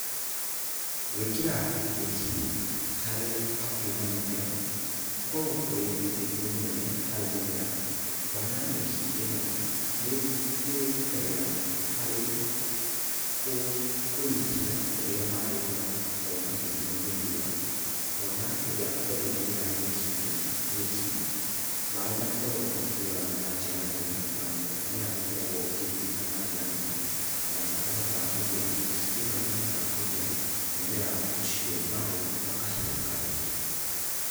Gwĩkĩra nyeki hakuhĩ na mũmera gũkoragwo kũrĩ ũteithio mũnene harĩ mũmera kuona nyeki ĩ no nĩgitagĩra harĩ kũnyihia ũrĩa maaĩ marakorwo makĩnyuo nĩ riũa, kuona hĩndĩ ĩrĩa andũ maigĩrĩra nyeki maaĩ matikoragwo makĩũra na njĩra nene, na mũmera nĩũkoragwo ũkĩgunĩka na njĩra nene. Na nyeki ĩno nĩkoragwo ĩkĩhota kũigĩra mũmera ũcio maaĩ gwa kahinda karaihu.